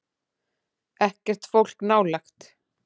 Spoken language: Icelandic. Ekkert fólk nálægt.